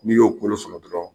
N'i y'o kolo sɔrɔ dɔrɔn